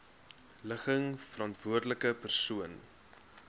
ligging verantwoordelike persoon